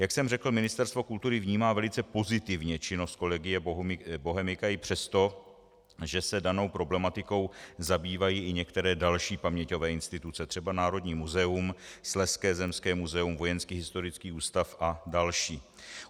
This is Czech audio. Jak jsem řekl, Ministerstvo kultury vnímá velice pozitivně činnost Collegia Bohemica i přesto, že se danou problematikou zabývají i některé další paměťové instituce, třeba Národní muzeum, Slezské zemské muzeum, Vojenský historický ústav a další.